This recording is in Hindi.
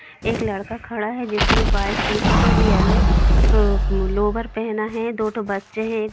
एक लड़का खड़ा है जिसने व्हाइट टी शर्ट और येलो लोअर पहना है दो ठो बच्चे है।